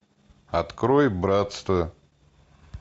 открой братство